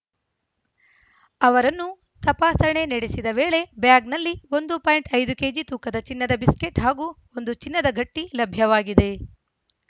ಅವರನ್ನು ತಪಾಸಣೆ ನಡೆಸಿದ ವೇಳೆ ಬ್ಯಾಗ್‌ನಲ್ಲಿ ಒಂದು ಪಾಯಿಂಟ್ ಐದು ಕೆಜಿ ತೂಕದ ಚಿನ್ನದ ಬಿಸ್ಕೆಟ್‌ ಹಾಗೂ ಒಂದು ಚಿನ್ನದ ಗಟ್ಟಿಲಭ್ಯವಾಗಿದೆ